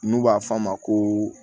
N'u b'a f'a ma ko